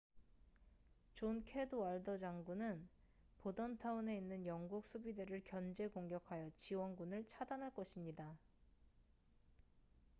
존 캐드왈더 장군은 보던타운에 있는 영국 수비대를 견제 공격하여 지원군을 차단할 것입니다